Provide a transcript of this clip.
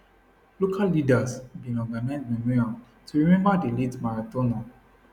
local leaders bin organise memorial to remember di late marathoner